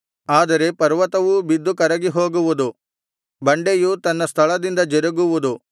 ಆದರೆ ಪರ್ವತವೂ ಬಿದ್ದು ಕರಗಿಹೋಗುವುದು ಬಂಡೆಯು ತನ್ನ ಸ್ಥಳದಿಂದ ಜರುಗುವುದು